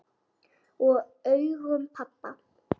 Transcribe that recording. Og augum pabba.